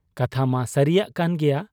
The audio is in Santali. ᱠᱟᱛᱷᱟᱢᱟ ᱥᱟᱹᱨᱤᱭᱟᱜ ᱠᱟᱱ ᱜᱮᱭᱟ ᱾